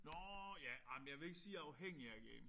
Nåh ja ej men jeg vil ikke sige jeg er afhængig af at game